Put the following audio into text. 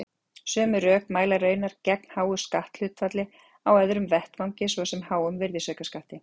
Sömu rök mæla raunar gegn háu skatthlutfalli á öðrum vettvangi, svo sem háum virðisaukaskatti.